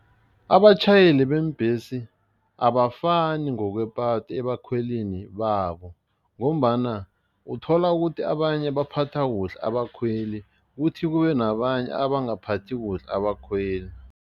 Abatjhayeli beembhesi abafani ngokwepatho ebakhwelini babo ngombana uthola ukuthi abanye baphatha kuhle abakhweli, kuthi kube nabanye abangaphathi kuhle abakhweli.